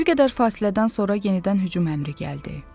Bir qədər fasilədən sonra yenidən hücum əmri gəldi.